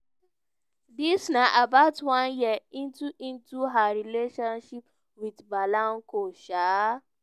dis na about one year into into her relationship wit blanco. um